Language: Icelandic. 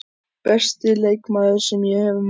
Besti leikmaður sem ég hef mætt?